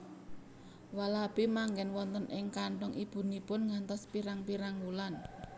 Walabi manggen wonten ing kanthong ibunipun ngantos pirang pirang wulan